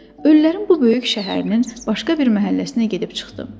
Ölülərin bu böyük şəhərinin başqa bir məhəlləsinə gedib çıxdım.